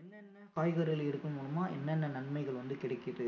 என்னென்ன நன்மைகள் வந்து கிடைக்குது